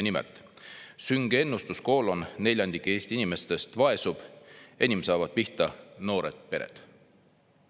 Nimelt: "Sünge ennustus: neljandik Eesti inimestest vaesub, enim saavad pihta noored pered".